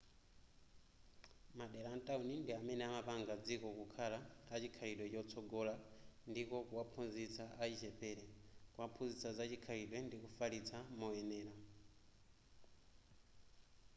madera a mtawuni ndi amene amapanga dziko kukhala a chikhalidwe chotsogola ndiko kuwaphunzitsa achichepere kuphunzitsa za chikhalidwe ndi kufalitsa moyenera